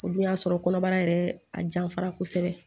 O dun y'a sɔrɔ kɔnɔbara yɛrɛ a janfara kosɛbɛ